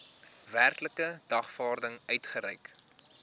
werklike dagvaarding uitgereik